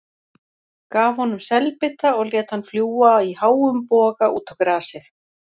Gaf honum selbita og lét hann fljúga í háum boga út á grasið.